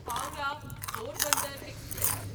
Howrah Porbandar express